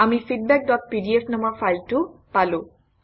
আমি feedbackপিডিএফ নামৰ ফাইলটো পালো